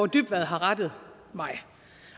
dybvad har rettet mig